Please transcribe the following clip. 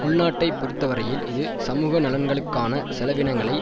உள்நாட்டை பொறுத்தவரையில் இது சமூக நலன்களுக்கான செலவினங்களை